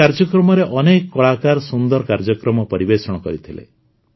ଏହି କାର୍ଯ୍ୟକ୍ରମରେ ଅନେକ କଳାକାର ସୁନ୍ଦର କାର୍ଯ୍ୟକ୍ରମ ପରିବେଷଣ କରିଥିଲେ